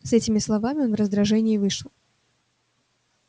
с этими словами он в раздражении вышел